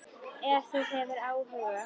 Ef þú hefur áhuga.